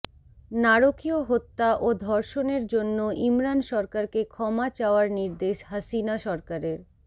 নারকীয় হত্যা ও ধর্ষণের জন্য ইমরান সরকারকে ক্ষমা চাওয়ার নির্দেশ হাসিনা সরকারের